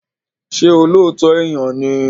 Ṣé olóòótọ́ èèyàn ni?